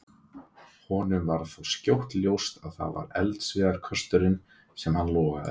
Honum varð þó skjótt ljóst að það var eldiviðarkösturinn einn sem logaði.